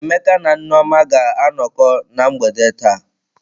Emeka na Nneoma ga-anọkọ na mgbede taa.